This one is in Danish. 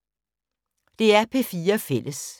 DR P4 Fælles